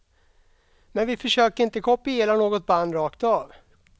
Men vi försöker inte kopiera något band rakt av.